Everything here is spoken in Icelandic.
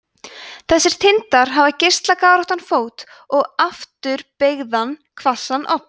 þessir tindar hafa geislagáróttan fót og afturbeygðan hvassan odd